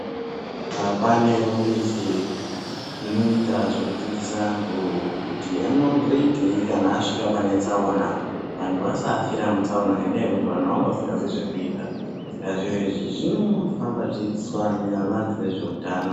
Haa kunewo mizi inoita zvekudzidzisa antu kuti anozoitei kana asvika pane tsaona vantu vasafira mutsaona ngekuti vantu vanenge vasingazivi zvekuita Saka zvinofamba zveidzidziswa antu nevanhu vezvehutano.